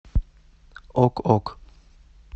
ок ок